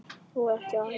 Og ekki aðeins það.